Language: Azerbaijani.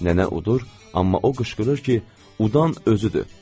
Nənə udur, amma o qışqırır ki, udan özüdür.